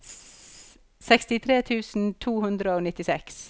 sekstitre tusen to hundre og nittiseks